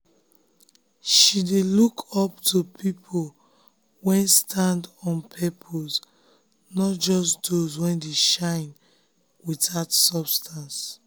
she dey look um up um to people wey stand on purpose not just those wey dey shine without substance.